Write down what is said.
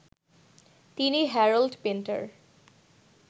তিনি Harold Pinter